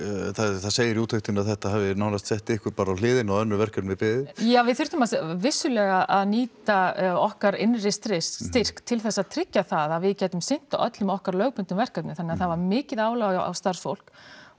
það segir í úttektinni að þetta hafi nánast sett ykkur bara á hliðina og önnur verkefni beðið já við þurftum vissulega að nýta okkar innri styrk til þess að tryggja það að við gætum sinnt öllum okkar lögbundnu verkefnum þannig að það var mikið álag á starfsfólk og